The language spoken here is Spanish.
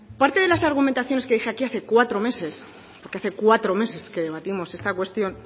parte de las argumentaciones que dije aquí hace cuatro meses porque hace cuatro meses que debatimos esta cuestión